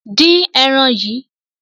Dín ẹran yìí!